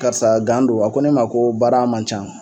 Karisa don a ko ne ma ko baara man can